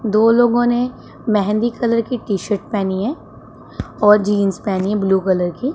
दो लोगों ने मेहंदी कलर की टी शर्ट पेहनी है और जींस पे है ब्लू कलर की--